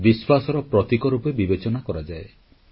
ସମସ୍ତ ଦେଶବାସୀଙ୍କୁ ଏହି ପବିତ୍ର ପର୍ବ ଉପଲକ୍ଷେ ଅନେକ ଅନେକ ଶୁଭେଚ୍ଛା